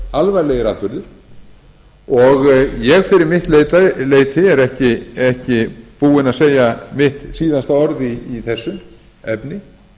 alvarlegir atburðir og ég fyrir mitt leyti er ekki búinn að segja mitt síðasta orð í þessu efni